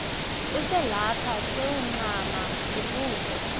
uselapha sewuncama kukude